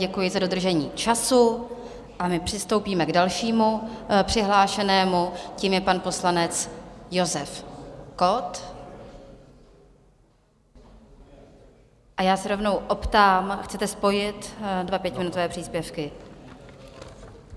Děkuji za dodržení času, a my přistoupíme k dalšímu přihlášenému, tím je pan poslanec Josef Kott, a já se rovnou optám: Chcete spojit dva pětiminutové příspěvky?